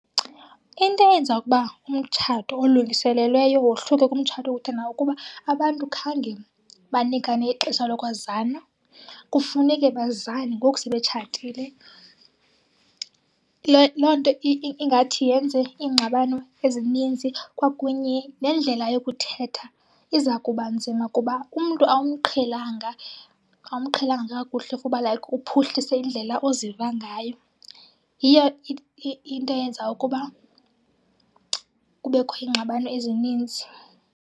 Into eyenza ukuba umtshato olungiselelweyo wohluke kumtshato wokuthandana kukuba abantu khange banikane ixesha lokwazana, kufuneke bazane ngoku sebetshatile. Loo nto ingathi yenze iingxabano ezininzi kwakunye nendlela yokuthetha iza kuba nzima kuba umntu awumqhelanga, awumqhelanga kakuhle kuba like uphuhlise indlela oziva ngayo. Yiyo into eyenza ukuba kubekho iingxabano ezininzi.